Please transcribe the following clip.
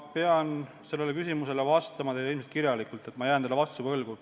Ma pean sellele küsimusele vastama ilmselt kirjalikult, ma jään teile vastuse võlgu.